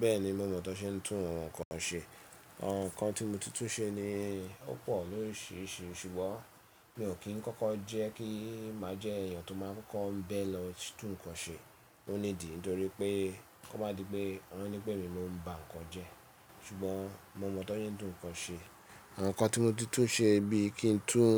Bẹ́ẹ̀ni, mo mọ̀ tó ṣe ń tún ohun kan ṣe. Àwọn nǹkan tí mo tuntun ṣe ni ó pọ̀ lóríṣiríṣi ṣùgbọ́n mi ò kí ń kọ́kọ́ jẹ́ kí màá jẹ́ èèyàn tó máa ń kọ́ọ́ ń bẹ lọ tún nǹkan ṣe oní ìdí nítorí pé kó má di pé wọn nipe èmi mo ń ba nǹkan jẹ. Ṣùgbọ́n mo mọ̀ tọ ń ṣe tún nǹkan ṣe. Àwọn nǹkan tí mo tuntun ṣe bí i kí n tún